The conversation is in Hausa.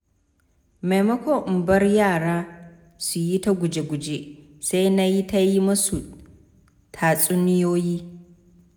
Maimakon in bar yara su yi ta guje-guje, sai nayi ta yi musu tatsuniyoyi.